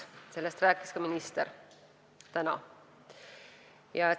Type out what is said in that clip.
Sellest rääkis täna ka minister.